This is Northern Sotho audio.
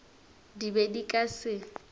di be di ka se